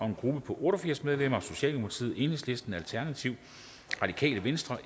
en gruppe på otte og firs medlemmer socialdemokratiet enhedslisten alternativet radikale venstre